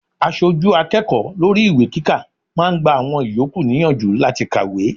Aṣojú akẹ́kọ̀ọ́ lórí ìwé kíkà máa gba àwọn ìyókù níyànjú láti kàwé.